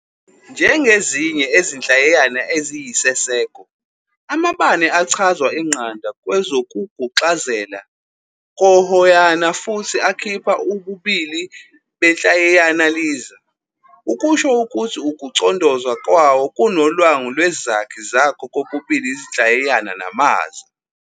Njengezinye ezinhlayiyana eziyisiseko, amabane achazwa ingqanda kwezokuguxazela kohoyana futhi akhipha ububili benhlayiyana-liza, ukusho ukuthi ukucondoza kwawo kunolwangu lwezakhi zakho kokubili izinhlayiyana namaza.